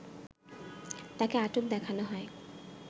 তাকে আটক দেখানো হয়